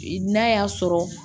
N'a y'a sɔrɔ